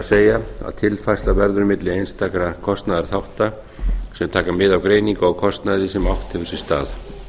það er að tilfærsla verður milli einstakra kostnaðarþátta sem taka mið af greiningu á kostnaði sem átt hefur sér stað